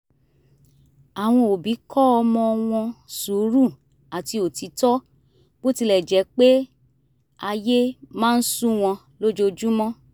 àwọn òbí kọ́ ọmọ wọn sùúrù àti òtítọ́ bó tilẹ̀ jẹ́ pé ayé máa ń sú wọn lójoojúmọ́